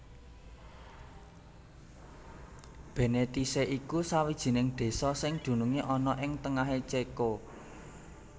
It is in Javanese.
Bénéticé iku sawijining désa sing dunungé ana ing tengahé Céko